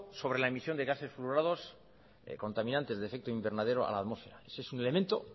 sobre la emisión de gases fluorados contaminantes de efecto invernadero a la atmósfera ese es un elemento